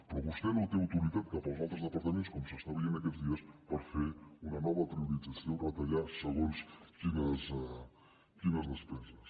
però vostè no té autoritat cap als altres departaments com s’està veient aquests dies per fer una nova priorització retallar segons quines despeses